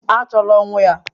Achọla ọnwụ ya!